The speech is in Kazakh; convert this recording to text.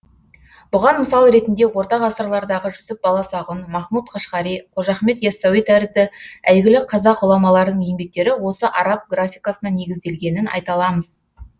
бұған мысал ретінде орта ғасырлардағы жүсіп баласағұн махмут қашғари қожа ахмет ясауи тәрізді әйгілі қазақ ғұламаларының еңбектері осы араб графикасына негізделгенін айта аламыз